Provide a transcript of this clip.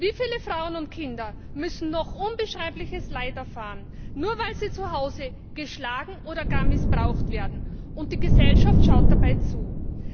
Wie viele Frauen und Kinder müssen noch unbeschreibliches Leid erfahren, nur weil sie zu Hause geschlagen oder gar missbraucht werden und die Gesellschaft dabei zuschaut?